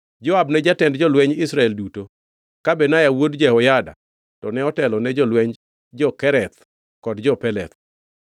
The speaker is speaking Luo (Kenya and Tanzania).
Joab ne jatend jolweny Israel duto; ka Benaya wuod Jehoyada to ne otelo ne jolwenj jo-Kereth kod jo-Peleth.